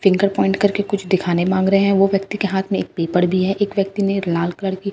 finger point करके कुछ दिखाने मांग रहे हैं वो व्यक्ति के हाथ में एक पेपर भी है एक व्यक्ति ने लाल कलर की --